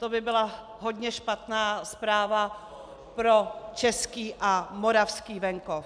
To by byla hodně špatná zpráva pro český a moravský venkov.